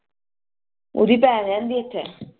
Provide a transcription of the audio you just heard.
ਓਦੀ ਭੈਣ ਰਹਿੰਦੀ ਆ ਇੱਥੇ